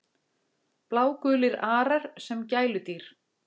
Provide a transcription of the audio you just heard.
Blágulir arar sem gæludýr